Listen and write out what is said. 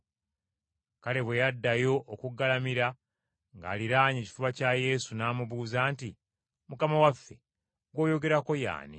Kale bwe yaddayo okugalamira ng’aliraanye ekifuba kya Yesu, n’amubuuza nti, “Mukama waffe, gw’oyogerako ye ani?”